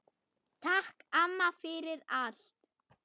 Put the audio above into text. Takk, amma, fyrir allt.